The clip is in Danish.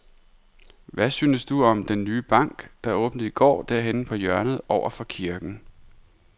Hvad synes du om den nye bank, der åbnede i går dernede på hjørnet over for kirken?